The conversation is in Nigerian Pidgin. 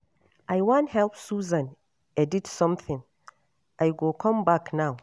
I wan help Susan edit something I go come back now.